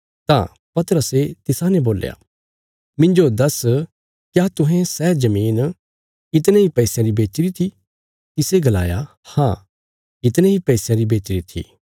तां पतरसे तिसाने बोल्या मिन्जो दस क्या तुहें सै जमीन इतणे इ पैसयां री बेचीरी थी तिसे गलाया हाँ इतणे इ पैसयां री बेचीरी थी